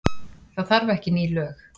Það þarf ekki ný lög.